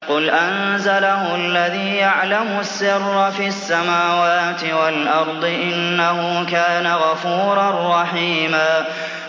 قُلْ أَنزَلَهُ الَّذِي يَعْلَمُ السِّرَّ فِي السَّمَاوَاتِ وَالْأَرْضِ ۚ إِنَّهُ كَانَ غَفُورًا رَّحِيمًا